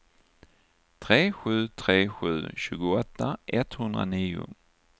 tre sju tre sju tjugoåtta etthundranio